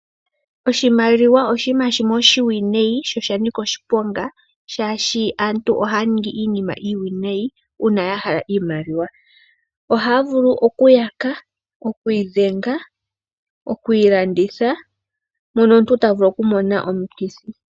Oshimaliwa oshinima shimwe oshiwinayi sho osha nika oshiponga, oshoka aantu ohaya ningi iinima iiwinayi uuna ya hala iimaliwa. Ohaya vulu okuyaka, okuidhenga, okuilanditha moka omuntu ta vulu okumona omikthi.